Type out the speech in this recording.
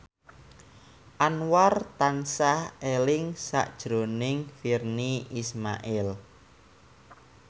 Anwar tansah eling sakjroning Virnie Ismail